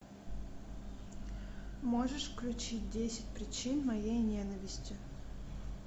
можешь включить десять причин моей ненависти